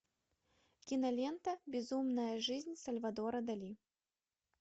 кинолента безумная жизнь сальвадора дали